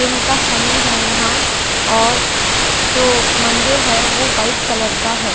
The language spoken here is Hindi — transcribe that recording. दिन का समय है यहां और जो मंदिर है वो वाइट कलर का है।